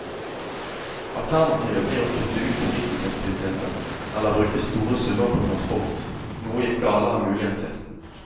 Alternativet blir å kutte ut fritidsaktiviteter eller bruke store summer på transport, noe ikke alle har mulighet til.